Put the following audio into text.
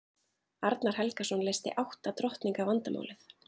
arnar helgason leysti átta drottninga vandamálið